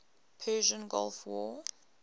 persian gulf war